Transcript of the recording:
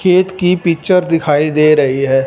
खेत की पिक्चर दिखाई दे रही हैं।